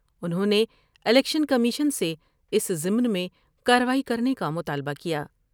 انہوں نے election commission سے اس ضمن میں کاروائی کرنے کا مطالبہ کیا ۔